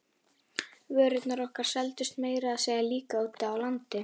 Vörurnar okkar seldust meira að segja líka úti á landi.